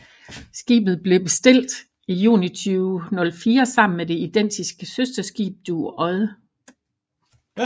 Skibet blev bestilt i juni 2004 sammen med det identiske søsterskib Dueodde